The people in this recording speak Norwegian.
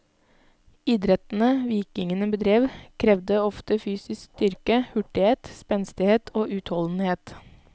Idrettene vikingene bedrev, krevde ofte fysisk styrke, hurtighet, spenstighet og utholdenhet.